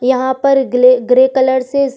यहां पर ग्ले ग्रे कलर से --